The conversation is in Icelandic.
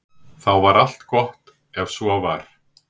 Þá var allt gott ef svo var.